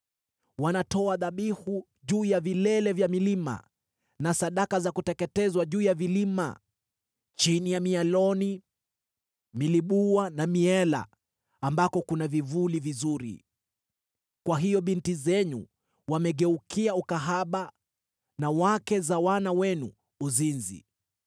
Wanatoa dhabihu juu ya vilele vya milima na sadaka za kuteketezwa juu ya vilima, chini ya mialoni, milibua na miela, ambako kuna vivuli vizuri. Kwa hiyo binti zenu wamegeukia ukahaba na wake za wana wenu uzinzi.